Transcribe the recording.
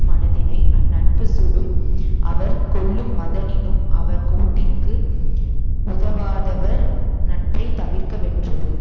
மனத்தினை அந்நட்புச் சுடும் அவர் கொல்லுமதனினும் அவர் கோட்டிற்கு உதவாதவர் நட்பை தவிர்க வென்றது